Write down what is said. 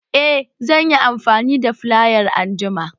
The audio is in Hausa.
Eh zan yi amfani da filayar anjima